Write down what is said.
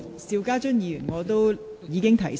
邵家臻議員，請稍停。